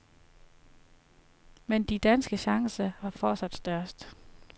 Men de danske chancer var fortsat størst.